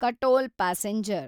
Katol passenger